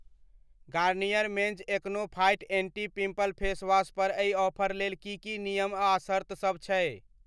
Garnier men's acno fight anti pimple facewash पर एहि offer लेल की की नियम आ शर्तसभ छै?